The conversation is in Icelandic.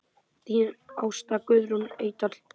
Þín Ásta Guðrún Eydal.